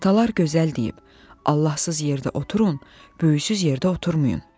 Atalar gözəl deyib: Allahsız yerdə oturun, böyüksüz yerdə oturmayın.